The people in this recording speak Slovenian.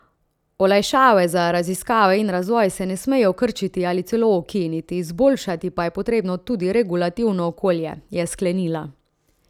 Olajšave za raziskave in razvoj se ne smejo krčiti ali celo ukiniti, izboljšati pa je potrebno tudi regulativno okolje, je sklenila.